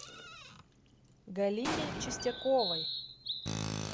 галине чистяковой